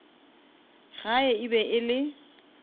gae e be e le